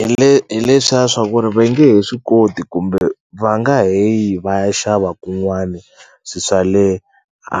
Hi hi leswiya swa ku ri ve nge he swi koti kumbe va nga he yi va ya xava kun'wani swi swa le a